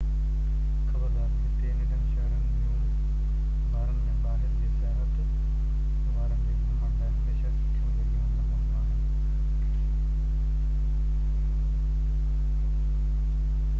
خبردار هتي ننڍن-شهرن جون بارن ۾ ٻاهر جي سياحت وارن جي گهمڻ لاءِ هميشه سٺيون جڳهيون نه هونديون آهن